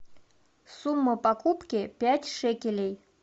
сумма покупки пять шекелей